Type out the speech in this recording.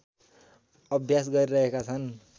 अभ्यास गरिरहेका छन्